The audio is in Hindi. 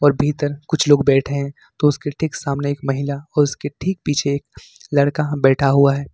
भीतर कुछ लोग बैठे हैं तो उसके ठीक सामने एक महिला और उसके ठीक पीछे एक लड़का बैठा हुआ है।